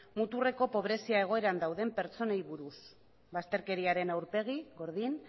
muturreko pobrezia egoeran dauden pertsonei buruz bazterkeriaren aurpegi gordin